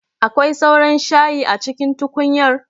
Akwai sauran shayi a cikin tukunyar?